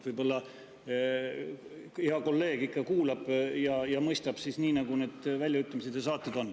Võib-olla hea kolleeg ikka kuulab ja mõistab nii, nagu need väljaütlemised nendes saadetes on.